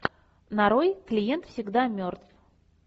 нарой клиент всегда мертв